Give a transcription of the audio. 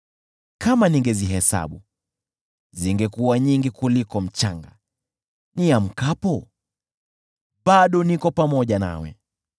Kama ningezihesabu, zingekuwa nyingi kuliko mchanga. Niamkapo, bado niko pamoja nawe.